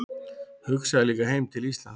Hugsaði líka heim til Íslands.